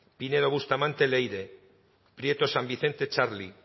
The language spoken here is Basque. pinedo bustamante leire prieto san vicente txarli